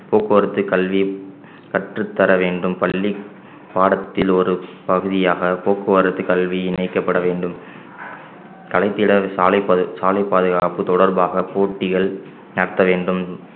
போக்குவரத்து கல்வி கற்றுத்தர வேண்டும் பள்ளி பாடத்தில் ஒரு பகுதியாக போக்குவரத்து கல்வி இணைக்கப்பட வேண்டும் கலைத்திட சாலைப் பா~ சாலைப் பாதுகாப்பு தொடர்பாக போட்டிகள் நடத்த வேண்டும்